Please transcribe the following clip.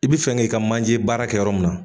I bi fɛn g'i ka manje baara kɛ yɔrɔ min na